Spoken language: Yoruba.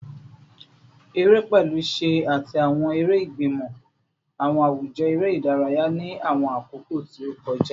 Ere, pẹlu ṣẹ ati awọn ere igbimọ, awọn awujọ ere idaraya ni awọn akoko ti o kọja